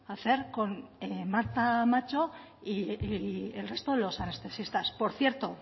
hacer con marta macho y el resto de los anestesistas por cierto